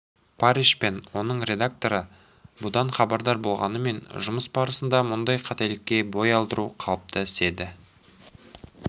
парриш пен оның редакторы бұдан хабардар болғанымен жұмыс барысында мұндай қателікке бой алдыру қалыпты іс еді